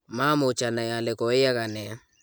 maamuch anai ale koyaaka ne